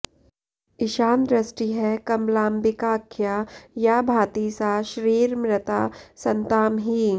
ईशानदृष्टिः कमलाम्बिकाख्या या भाति सा श्रीरमृता सतां हि